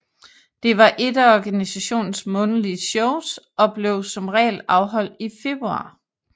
Det var ét af organisationens månedlige shows og blev som regel afholdt i februar